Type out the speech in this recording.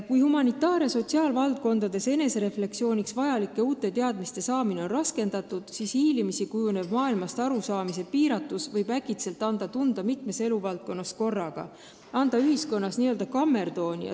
Kui humanitaar- ja sotsiaalvaldkonnas on refleksiooniks vajalike uute teadmiste saamine raskendatud, siis hiilimisi kujunev maailmast arusaamise piiratus võib äkitselt anda tunda mitmes eluvaldkonnas korraga, tekitades ühiskonnas n-ö kammertooni.